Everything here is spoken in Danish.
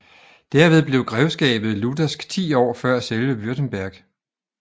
Derved blev grevskabet luthersk 10 år før selve Württemberg